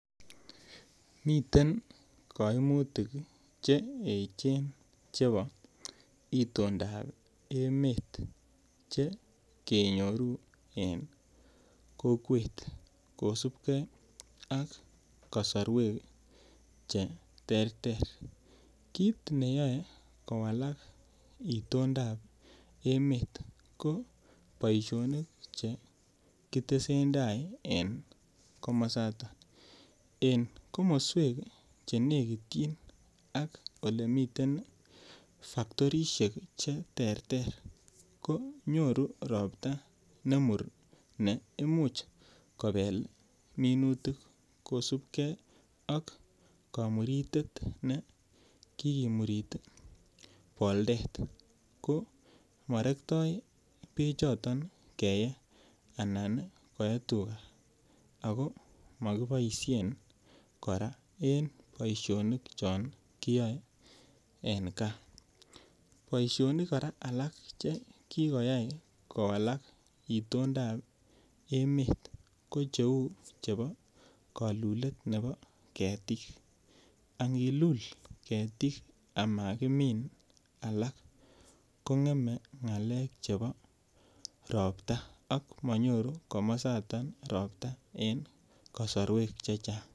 Miten kaimutik che echen chebo itoondab emet chekenyoru eng kokwet kosipke ak kasorwek cheterter kit neyoe kowalak itoondab emet ko boisioni chekitesen tai en komosaton en komoswek chenekityin ak olemiten factorisiek cheterter konyoru ropta nemur neimuch kobel minutik kosipke ak komuritet nekikimurit boltet ko morektoi bechoton keyee anan koe tuka ako mokiboisien kora en boisionik chongiyoe en gaa, Boisionik alak kora chekikoyai kowalak itoondab emet ko cheu chepo kolulet ne bo ketik angilul ketik ama kimin alak kong'em ng'alek chebo ropta ak manyoru komosato ropta en kasorwek chechang.